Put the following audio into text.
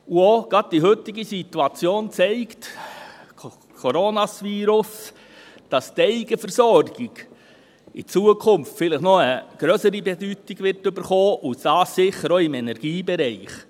Gerade die heutige Situation – Coronavirus – zeigt, dass die Eigenversorgung in Zukunft vielleicht noch eine grössere Bedeutung bekommen wird, und dies sicher auch im Energiebereich.